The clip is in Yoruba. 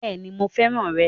Bẹ́ẹ̀ni mo fẹ́ràn rẹ̀